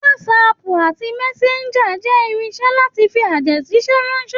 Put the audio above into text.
WhatsApp àti Messenger jẹ́ irinṣe láti fi àtẹ̀jíṣẹ́ ránṣẹ́.